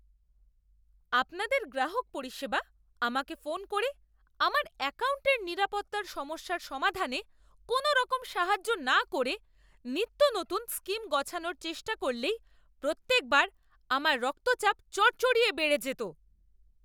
আপনাদের গ্রাহক পরিষেবা আমাকে ফোন করে আমার অ্যাকাউন্টের নিরাপত্তার সমস্যার সমাধানে কোনওরকম সাহায্য না করে নিত্যনতুন স্কিম গছানোর চেষ্টা করলেই প্রত্যেকবার আমার রক্তচাপ চড়চড়িয়ে বেড়ে যেত। গ্রাহক